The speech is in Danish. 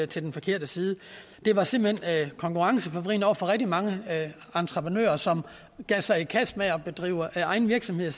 til den forkerte side det var simpelt hen konkurrenceforvridende over for rigtig mange entreprenører som gav sig i kast med at drive egen virksomhed